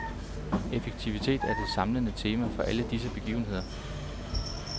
Effektivitet er det samlende tema for alle disse begivenheder.